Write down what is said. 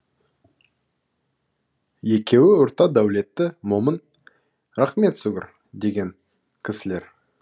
екеуі орта дәулетті момын рақымет сүгір деген кісілер